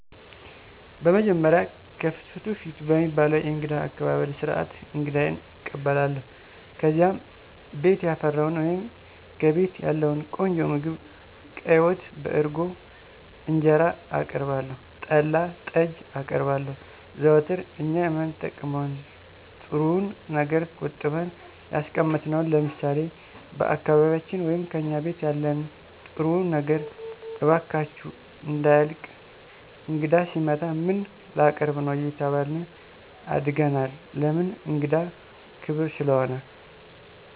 በመጀመሪያ "ከፍትፍቱ ፊቱ" በሚባለዉ የእንግዳ አቀባበል ስርዓት አንግዳየን እቀበላለሁ። ከዚያም ቤት ያፈራዉን ወይም ከቤቴ ያለዉን ቆንጆ ምግብ ቀይ ወጥ፣ በእርጎ እንጀራአቀርባለሁ, ጠላ, ጠጅ አቀርባለሁ, ዘወትር እኛ የማንጠቀመዉን ጥሩዉን ነገር ቆጥበን ያስቀመጥነዉን ለምሳሌ፦ በአካባቢያችን ወይም "ከእኛ ቤት ያለን ጥሩዉ ነገር እባካችሁ እንዳያልቅ እንግዳ ሲመጣ ምን ላቀርብ ነዉ አየተባልን አድገናል ለምን እንግዳ ክብር ስለሆነ።